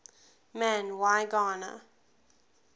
man y gana